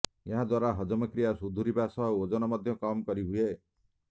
ଏହାଦ୍ୱାରା ହଜମ କ୍ରିୟା ଶୁଧୁରିବା ସହ ଓଜନ ମଧ୍ୟ କମ୍ କରି ହୁଏ